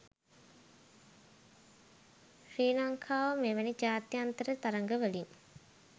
ශ්‍රී ලංකාව මෙවැනි ජාත්‍යන්තර තරගවලින්